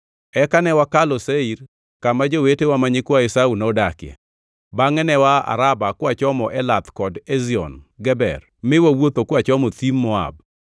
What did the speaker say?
Eka ne wakalo Seir kama jowetewa ma nyikwa Esau nodakie. Bangʼe ne waa Araba kwachomo Elath kod Ezion Geber mi wawuotho kwachomo thim Moab.